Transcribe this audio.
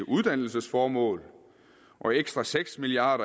uddannelsesformål og ekstra seks milliard